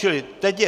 Čili teď je...